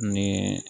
Ni